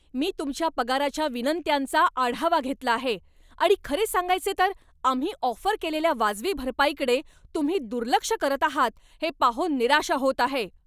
मी तुमच्या पगाराच्या विनंत्यांचा आढावा घेतला आहे आणि खरे सांगायचे तर, आम्ही ऑफर केलेल्या वाजवी भरपाईकडे तुम्ही दुर्लक्ष करत आहात हे पाहून निराशा होत आहे.